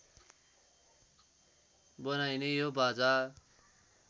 बनाइने यो बाजा